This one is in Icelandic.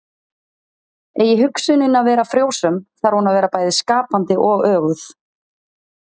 eigi hugsunin að vera frjósöm þarf hún að vera bæði skapandi og öguð